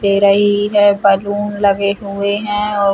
तेरा ही है बैलून लगे हुए है और--